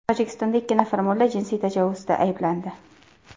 Tojikistonda ikki nafar mulla jinsiy tajovuzda ayblandi.